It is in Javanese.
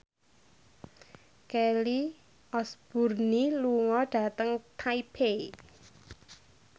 Kelly Osbourne lunga dhateng Taipei